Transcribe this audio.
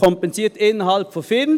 Man kompensiert innerhalb der FIN.